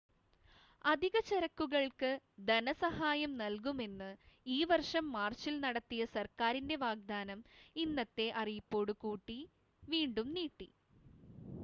അധിക ചരക്കുകൾക്ക് ധന സഹായം നൽകുമെന്ന് ഈ വർഷം മാർച്ചിൽ നടത്തിയ സർക്കാരിൻ്റെ വാഗ്ദാനം ഇന്നത്തെ അറിയിപ്പോടു കൂടി വീണ്ടും നീട്ടി